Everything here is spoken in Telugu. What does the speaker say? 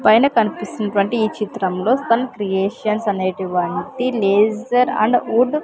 పైన కన్పిస్తున్నటువంటి ఈ చిత్రంలో ఫన్ క్రియేషన్స్ అనేటివంటి లేసర్ అండ్ వుడ్ --